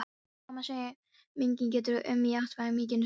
Kona sem enginn getur um í æviminningum sínum.